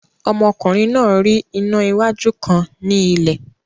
Ọmọkùnrin náà rí iná wájú kan ní ilẹ̀